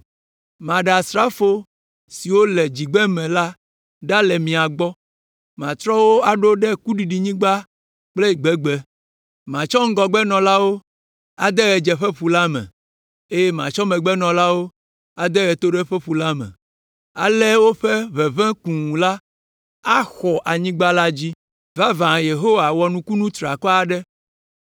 “Maɖe asrafo siwo tso dzigbeme la ɖa le mia gbɔ, matrɔ wo aɖo ɖe kuɖiɖinyigba kple gbegbe. Matsɔ ŋgɔgbenɔlawo ade ɣedzeƒeƒu la me eye matsɔ megbenɔlawo ade ɣetoɖoƒeƒu la me. Ale woƒe ʋeʋẽ kũu la axɔ anyigba la dzi.” Vavã, Yehowa wɔ nukunu triakɔ aɖe.